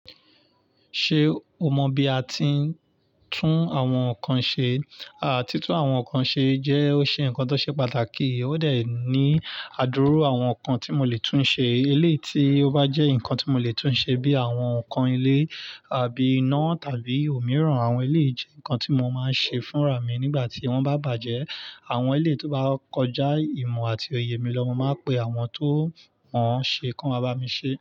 Ṣé o mọ bí a ti ń tún àwọn nǹkan ṣe? Àti tún àwọn nǹkan ṣe jẹ́ ó ṣe nǹkan tó ṣe pàtàkì. Ó dẹ̀ ní àdúru àwọn nǹkan tí mo lè tún ṣe. Ilé tí ó bá jẹ́ nǹkan tí mo lè tún ṣe bíi àwọn nǹkan ilé àbí iná tàbí òmíràn. Àwọn eleyii jẹ́ nǹkan tí mo máa ń ṣe fúnra mi nígbà tí wọ́n bá bàjẹ́. Àwọn eléyìí tó bá kọjá ìmọ̀ àti òye mi lọ, mo máa pe àwọn tó mọ̀ ṣe kí wọ́n bá mi ṣe.